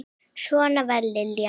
Svona var Lilja.